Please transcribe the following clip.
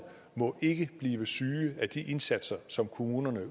må ikke blive syge af de indsatser som kommunerne